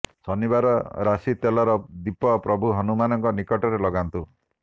ଶନିବାର ରାଶି ତେଲର ଦୀପ ପ୍ରଭୁ ହନୁମାନଙ୍କ ନିକଟରେ ଲଗାନ୍ତୁ